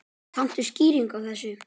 Kanntu skýringu á þessu?